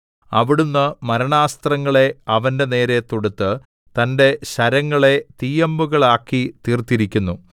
അവിടുന്ന് മരണാസ്ത്രങ്ങളെ അവന്റെനേരെ തൊടുത്ത് തന്റെ ശരങ്ങളെ തീയമ്പുകളാക്കി തീർത്തിരിക്കുന്നു